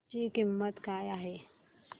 ची किंमत काय आहे